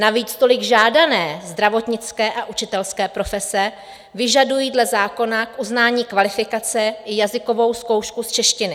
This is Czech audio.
Navíc tolik žádané zdravotnické a učitelské profese vyžadují dle zákona k uznání kvalifikace i jazykovou zkoušku z češtiny.